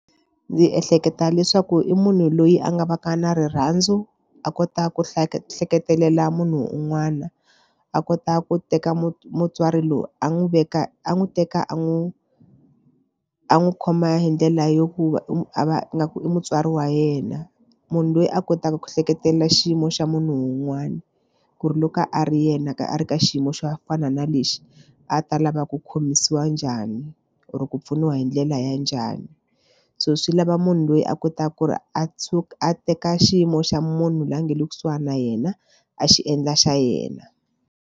Ndzi ehleketa leswaku i munhu loyi a nga va ka na rirhandzu a kota ku hleketelela munhu un'wana a kota ku teka mu mutswari loyi a n'wi veka a n'wi teka a n'wi a n'wi khoma hi ndlela yo ku va i a va nga ku i mutswari wa yena. Munhu loyi a kotaka ku hleketelela xiyimo xa munhu un'wana ku ri loko a ri yena a ri ka xiyimo xo fana na lexi a ta lava ku khomisiwa njhani or ku pfuniwa hi ndlela ya njhani so swi lava munhu loyi a kotaka ku ri a a teka xiyimo xa munhu loyi a nga le kusuhani na yena a xi endla xa yena.